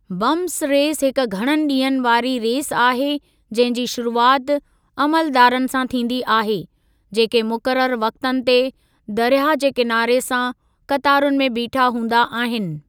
Bumps race हिक घणनि ॾींहनि वारी रेस आहे जंहिं जी शुरूआति अमलदारनि सां थींदी आहे जेके मुक़ररु वक़्तनि ते दर्याहु जे किनारे सां क़तारुनि में बीठा हूंदा आहिनि।